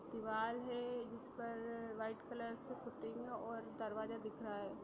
दिवार है जिस पर व्हाइट कलर से पुती है और दरवाजा दिख रहा है।